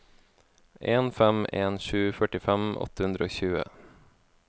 en fem en sju førtifem åtte hundre og tjue